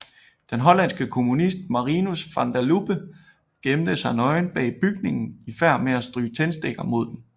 Den hollandske kommunist Marinus van der Lubbe gemte sig nøgen bag bygningen i færd med at stryge tændstikker mod den